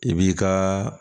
I b'i ka